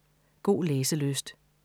God læselyst